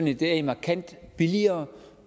i dag markant billigere